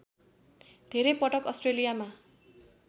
धेरै पटक अस्ट्रेलियामा